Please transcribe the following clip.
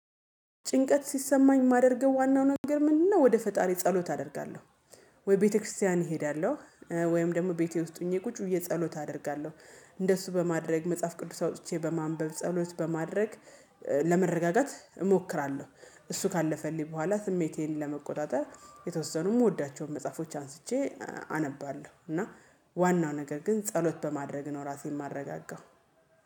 ጭንቀት ሲሰማኝ የማደርገው ዋናው ነገር ምንድነው? ወደ ፈጣሪ ጸሎት አደርጋለሁ ወይ ቤተክርስቲያን እሄዳለሁ ወይም ደግሞ ቤቴ ውስጥ ሆኜ ቁጭ ብዬ ጸሎት አደርጋለሁ። እንደሱ በማድረግ መጽሐፍ ቅዱስ አውጥቼ በማንበብ ጸሎት በማድረግ ለመረጋጋት እሞክራለሁ። እሱ ካለፈልኝ በኋላ ስሜቴን ለመቆጣጠር የተወሰኑ የምወዳቸውን መጽሐፎች አንስቼ አነባለሁ እና ዋናው ነገር ግን ጸሎት በማድረግ ነው ራሴን ማረጋጋው።